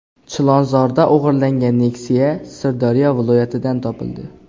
Chilonzorda o‘g‘irlangan Nexia Sirdaryo viloyatidan topildi.